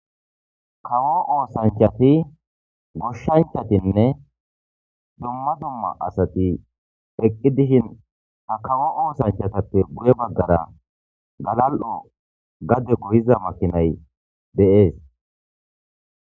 Kawo oosanchati goshshanchatinne dumma dumma asati eqqi dishin ha kawo oosanchatappe guye baggara galal'o gade goyiza makinay deees.